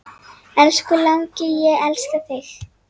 Elsku langi, ég elska þig.